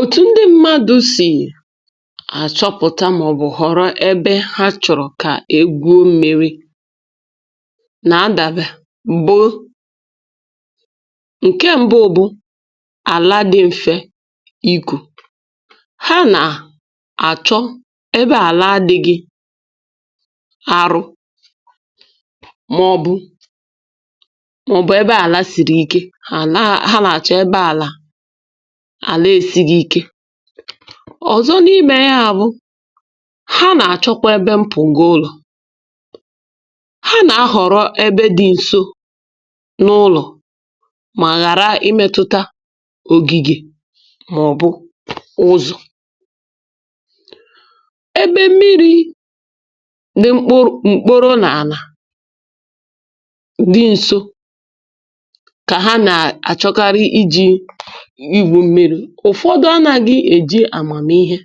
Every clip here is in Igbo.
Otu ụzọ ndị mmadụ si ahọpụta ebe ha chọrọ ibute mmiri bụ ịhọrọ ala dị mfe ịkụ. Ha na-achọ ala dị nro, um ma ghara ịdị ike nke ukwuu. Ọ bụrụ na ala ahụ siri ike ma ọ bụ jupụta nkume, ha na-ahọrọ ebe ọzọ. Ha na-echekwa echiche banyere ebe ụlọ ha dị. Ha na-ahọrọ ebe dị nso n’ụlọ ha, ma ghara ịdị nnọọ nso n’ogige maọbụ ụzọ. Ndị mmadụ na-achọkarị ebe mmiri dị nso ma dịkwa mfe iru. Ụfọdụ anaghị eji amamihe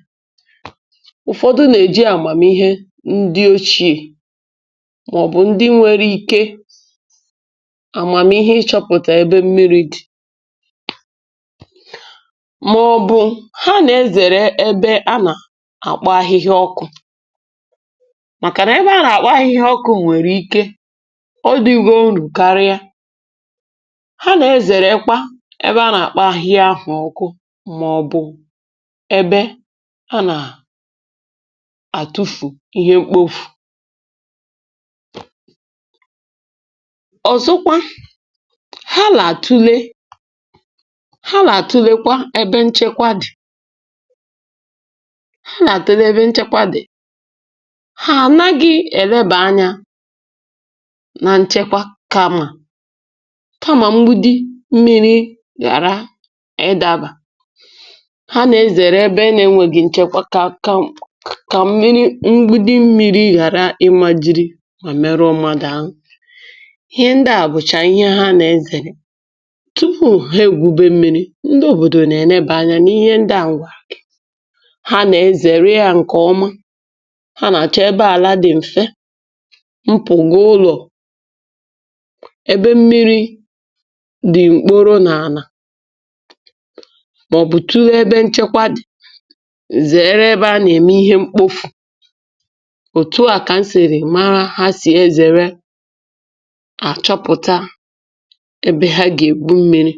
họrọ ebe ahụ, ma ndị ọzọ ọkachasị ndị agadi maọbụ ndị nwere amamihe na-eji amamihe achọpụta ebe mmiri dị mma. Ha na-ezere ebe a kpọrọ ọkụ n’ime ọhịa, um n’ihi na ụdị ala dị otu a nwere ike ghara ịdị mma, ma bụrụkwa ihe ize ndụ. Ha na-ezerekwa ebe eji agbaze ihe mkpofu. Ihe ọzọ ha na-eche banyere ya bụ nchekwa. Ha achọghị ibute mmiri n’ebe enweghị nchebe. Ha na-ezere ebe mgbidi mmiri nwere ike ịda ma merụọ mmadụ. Ndị a bụ ihe ha na-atụle tupu ha ebido ibute maọbụ kụwa mmiri. N’ịkwụsị okwu, obodo na-elebara ihe ndị a anya iji zere ihe ize ndụ. Ihe ha na-achọ dị mfe: ala dị nro nke dị mfe ịkụ, ala dị nso n’ụlọ ha, um na ebe mmiri dị ọcha ma dị nchebe. Ha na-ezere ebe ize ndụ dịka ebe mkpofu, maọbụ ala a kpọrọ ọkụ. Nke a bụ otu ha si ahọpụta ebe ha ga-ebute mmiri.